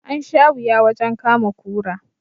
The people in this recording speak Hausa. An sha wuya wajen kama kura